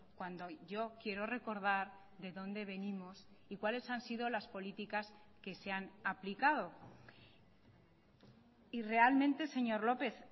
cuando yo quiero recordar de dónde venimos y cuales han sido las políticas que se han aplicado y realmente señor lópez